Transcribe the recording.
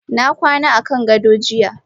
Na kwana akan gado jiya.